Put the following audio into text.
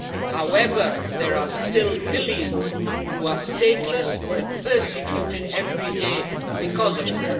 However, there are still millions who are stateless and persecuted every day because of it.